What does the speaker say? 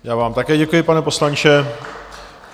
Já vám také děkuji, pane poslanče.